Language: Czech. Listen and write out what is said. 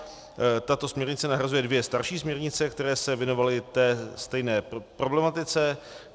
Tato směrnice nahrazuje dvě starší směrnice, které se věnovaly té stejné problematice.